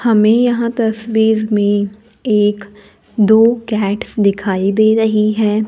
हमें यहां तस्वीर में एक दो कैट दिखाई दे रही है।